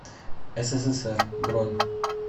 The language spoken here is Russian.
ссср бронь